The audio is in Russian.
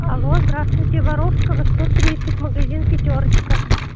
алло здравствуйте воровского сто тридцать магазин пятёрочка